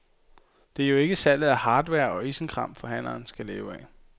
Det er jo ikke salget af hardware og isenkram, forhandleren skal leve af.